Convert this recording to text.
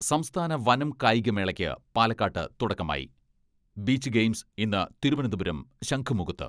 സംസ്ഥാന വനം കായികമേളയ്ക്ക് പാലക്കാട്ട് തുടക്കമായി , ബീച്ച് ഗെയിംസ് ഇന്ന് തിരുവനന്തപുരം ശംഖുമുഖത്ത്.